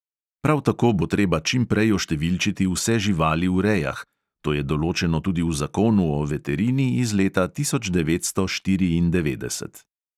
Prav tako bo treba čim prej oštevilčiti vse živali v rejah (to je določeno tudi v zakonu o veterini iz leta tisoč devetsto štiriindevetdeset).